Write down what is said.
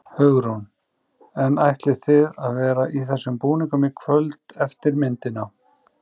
Hugrún: En ætlið þið að vera í þessum búningum í kvöld eftir myndina?